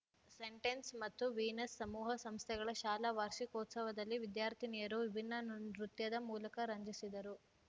scent Ann's ಮತ್ತು Venus ಸಮೂಹ ಸಂಸ್ಥೆಗಳ ಶಾಲಾ ವಾರ್ಷಿಕೋತ್ಸವದಲ್ಲಿ ವಿದ್ಯಾರ್ಥಿನಿಯರು ವಿಭಿನ್ನ ನೃ ನೃತ್ಯದ ಮೂಲಕ ರಂಜಿಸಿದರು